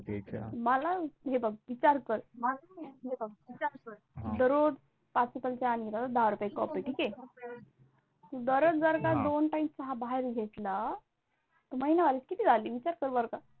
मला हे बघ विचार कर, अह दररोज पाच रुपयाची चाय आणि दहा रुपयाची कॉपी ठीक आहे, दररोज जर दोन Time चहा बाहेर घेतला तर महिनाभराचे किती झाले विचार कर बरं का?